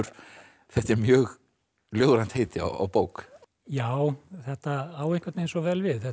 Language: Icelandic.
þetta er mjög ljóðrænt heiti á bók já þetta á einhvern veginn svo vel við þetta